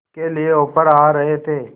के लिए ऑफर आ रहे थे